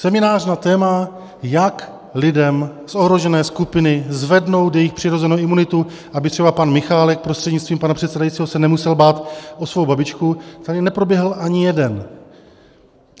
Seminář na téma, jak lidem z ohrožené skupiny zvednout jejich přirozenou imunitu, aby třeba pan Michálek prostřednictvím pana předsedajícího se nemusel bát o svou babičku, tady neproběhl ani jeden.